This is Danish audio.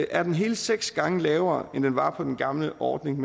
er hele seks gange lavere end den var på den gamle ordning